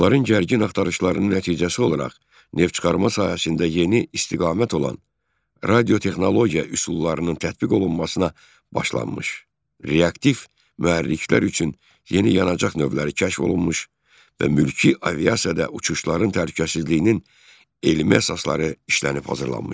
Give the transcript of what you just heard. Onların gərgin axtarışlarının nəticəsi olaraq neftçıxarma sahəsində yeni istiqamət olan radiotexnologiya üsullarının tətbiq olunmasına başlanmış, reaktiv mühərriklər üçün yeni yanacaq növləri kəşf olunmuş və mülki aviasiyada uçuşların təhlükəsizliyinin elmi əsasları işlənib hazırlanmışdır.